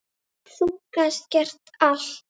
Þú gast gert allt.